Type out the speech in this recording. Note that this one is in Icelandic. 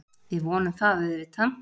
Við vonum það auðvitað